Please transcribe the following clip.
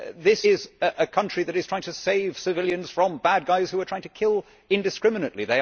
This is a country that is trying to save civilians from bad guys who are trying to kill indiscriminately.